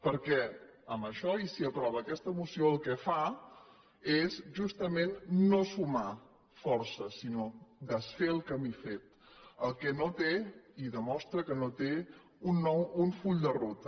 perquè amb això i si aprova aquesta moció el que fa és justament no sumar forces sinó desfer el camí fet la qual cosa no té i demostra que no té un full de ruta